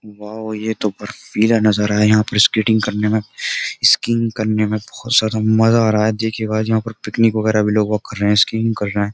Wow ये तो बरफीला नजर आया यहां पर स्केटिंग करने में स्किंग करने में बोहोत ज्यादा मजा आ रहा है। देखिए गाइस यहां पर पिकनिक वगैरह भी लोग वाग कर रहे हैं स्किन कर रहे हैं।